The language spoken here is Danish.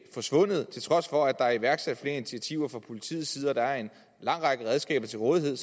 forsvundet til trods for at der er iværksat flere initiativer fra politiets og at der er en lang række redskaber til rådighed